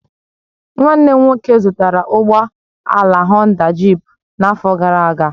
Nwanne m nwoke zụtara ụgbọ ala Honda jịp n'afọ gara aga